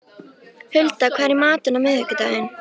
Hulda, hvað er í matinn á miðvikudaginn?